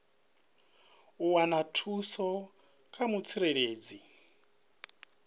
u wana thuso kha mutsireledzi